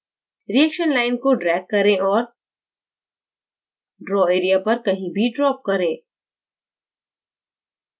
reaction line को drag करें और draw area पर कहीं भी drop करें